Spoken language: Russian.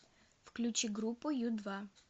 включи группу ю два